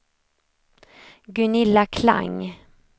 Gunilla Klang